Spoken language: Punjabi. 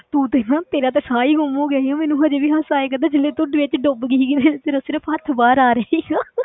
ਤੂੰ ਦੇਖ ਨਾ ਤੇਰਾ ਤੇ ਸਾਹ ਹੀ ਗੁੰਮ ਹੋ ਗਿਆ ਸੀਗਾ, ਮੈਨੂੰ ਹਜੇ ਵੀ ਹਾਸਾ ਆਇਆ ਕਰਦਾ ਜਦੋਂ ਤੂੰ ਵਿੱਚ ਡੁੱਬ ਗਈ ਸੀਗੀ, ਫਿਰ ਤੇਰਾ ਸਿਰਫ਼ ਹੱਥ ਬਾਹਰ ਆ ਰਿਹਾ ਸੀਗਾ